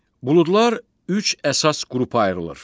Buludlar üç əsas qrupa ayrılır.